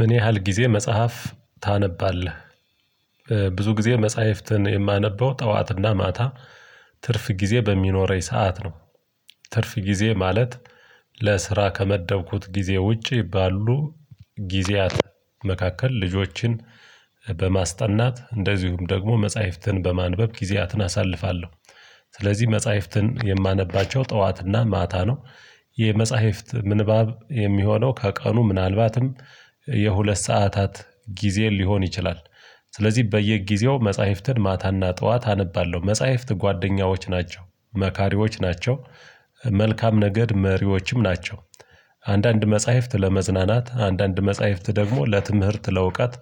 ምን ያህል ጊዜ መጽሐፍ ታነባለህ? ብዙ ጊዜ መጽሐፍትን የማነበው ጠዋትና ማታ ትርፍ ጊዜ በሚኖረኝ ሰዓት ነው። ትርፍ ጊዜ ማለት ለስራ ከመደብኩት ጊዜ ውጪ ባሉ ጊዜያት መካከል ልጆችን በማስጠናት እንደዚሁም ደግሞ መጽሐፍትን በማንበብ ጊዜያትን አሳልፋለሁ። ስለዚህ መጽሐፍትን የማነባቸው ጠዋትና ማታ ነው። የመጽሐፍት ምንባብ የሚሆነው ከቀኑ ምናልባትም የሁለት ሰዓታት ጊዜ ሊሆን ይችላል። ስለዚህ በየጊዜው መጽሐፍትን ማታና ጠዋት አነባለሁ መጽሐፍት ጓደኛዎች ናቸው መካሪዎች ናቸው መልካም ነገድ መሪዎችም ናቸው። አንዳንድ መጽሐፍት ለመዝናናት አንዳንድ መጽሐፍት ደግሞ ለትምህርት ለእውቀት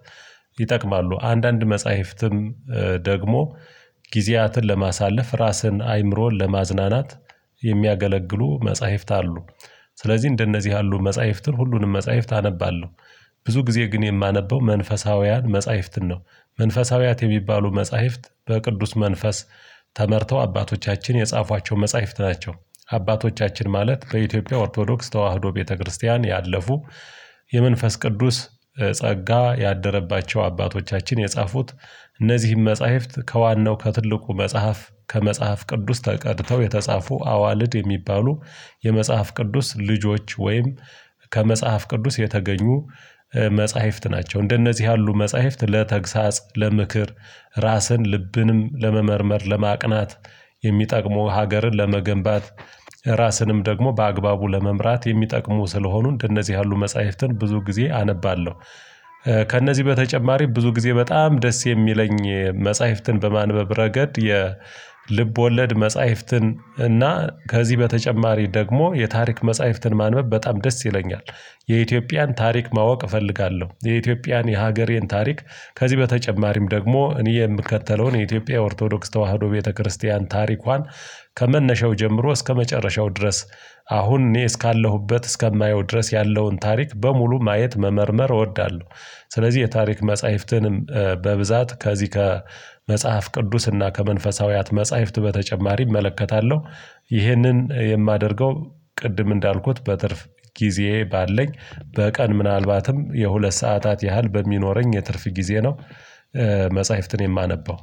ይጠቅማሉ አንዳንድ መጽሐፍትም ደግሞ ጊዜያትን ለማሳለፍ ራስን አይምሮን ለማዝናናት የሚያገለግሉ መጽሐፍት አሉ። ስለዚህ እንደነዚህ ያሉ መጽሐፍትን ሁሉንም መጽሐፍት አነባለሁ ብዙ ጊዜ ግን የማነበው መንፈሳውያን መጽሐፍትን ነው። መንፈሳውያት የሚባሉ መጽሐፍት በቅዱስ መንፈስ ተመርተው አባቶቻችን የጻፏቸው መጽሐፍት ናቸው። አባቶቻችን ማለት በኢትዮጵያ ኦርቶዶክስ ተዋህዶ ቤተክርስቲያን ያለፉ የመንፈስ ቅዱስ ጸጋ ያደረባቸው አባቶቻችን የጻፉት እነዚህን መጽሐፍት ከዋናው ከትልቁ መጽሐፍ ከመጽሐፍ ቅዱስ ተቀድተው የተጻፉ አዋልድ የሚባሉ የመጽሐፍ ቅዱስ ልጆች ወይም ከመጽሐፍ ቅዱስ የተገኙ መጽሐፍት ናቸው። እንደነዚህ ያሉ መጽሐፍት ለተግሳጽ ለምክር ራስን ልብንም ለመመርመር ለማቅናት የሚጠቅሙ ሀገርን ለመገንባት ራስንም ደግሞ በአግባቡ ለመምራት የሚጠቅሙ ስለሆኑ እንደነዚህ ያሉ መጽሐፍትን ብዙ ጊዜ አነባለሁ። ከእነዚህ በተጨማሪ ብዙ ጊዜ በጣም ደስ የሚለኝ መጽሐፍትን በማንበብ ረገድ የልብ ወለድ መጽሐፍትን እና ከዚህ በተጨማሪ ደግሞ የታሪክ መጽሐፍትን ማንበብ በጣም ደስ ይለኛል። የኢትዮጵያን ታሪክ ማወቅ እፈልጋለሁ የኢትዮጵያን የሀገሬን ታሪክ ከዚህ በተጨማሪም ደግሞ እኔ የምከተለውን የኢትዮጵያ ኦርቶዶክስ ተዋህዶ ቤተክርስቲያን ታሪኳን ከመነሻው ጀምሮ እስከመጨረሻው ድረስ አሁን እኔ እስካለሁበት እስከማየው ድረስ ያለውን ታሪክ በሙሉ ማየት መመርመር እወዳለሁ። ስለዚህ የታሪክ መጽሐፍትንም በብዛት ከዚህ ከመጽሐፍ ቅዱስና ከመንፈሳዊያት መጽሐፍት በተጨማሪ እመለከታለሁ። ይህንን የማደርገው ቅድም እንዳልኩት በትርፍ ጊዜ ባለኝ በቀን ምናልባትም የሁለት ሰዓታት ያህል በሚኖረኝ የትርፍ ጊዜ ነው። መጽሐፍትን የማነበው